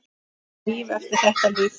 Er líf eftir þetta líf?